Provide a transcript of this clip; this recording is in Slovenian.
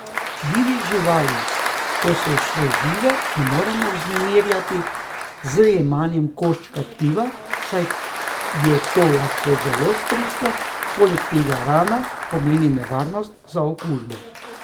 Divjih živali, ko so še žive, ne moremo vznemirjati z jemanjem koščka tkiva, saj je to lahko zelo stresno, poleg tega rana pomeni nevarnost za okužbo.